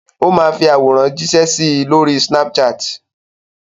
Ó máa fi àwòrán jíṣẹ́ sí i lórí Snapchat.